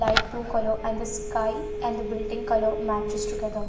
Light blue color and the sky and building color matches together.